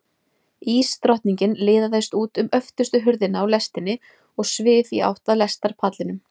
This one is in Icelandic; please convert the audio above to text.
Ísdrottningin liðaðist út um öftustu hurðina á lestinni og svif í átt að lestarpallinum.